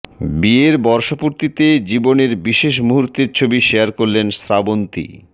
বিয়ের বর্ষপূর্তিতে জীবনের বিশেষ মুহূর্তের ছবি শেয়ার করলেন শ্রাবন্তী